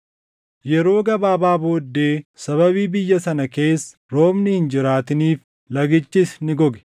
Yeroo gabaabaa booddee sababii biyya sana keessa roobni hin jiraatiniif lagichis ni goge.